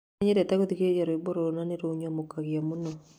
Nĩ nyendete gũthikĩrĩria rwĩmbo rũrũ, na nĩ rũnyamũkagia mũno.